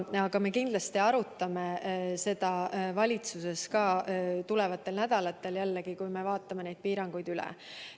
Aga me kindlasti arutame seda valitsuses tulevastel nädalatel, kui vaatame piiranguid üle.